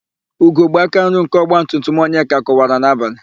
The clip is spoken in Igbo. Ugogbe akanri nke ọgbatumtum Onyeka kụwara n'abalị.